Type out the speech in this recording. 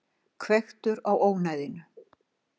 Hvekktur á ónæðinu.